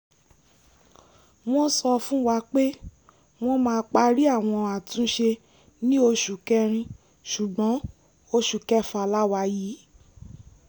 wọ́n sọ fún wa pé wọ́n máa parí àwọn àtúnṣe ní oṣù kẹrin ṣùgbọ́n oṣù kẹfà la wà yìí